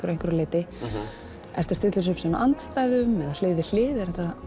einhverju leyti ertu að stilla þessu upp sem andstæðum eða hlið við hlið